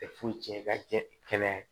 Tɛ foyi tiɲɛ i ka cɛ kɛnɛya